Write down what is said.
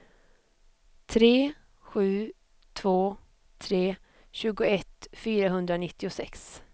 tre sju två tre tjugoett fyrahundranittiosex